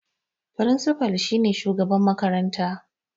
Firinsifa shine shugaban makaranta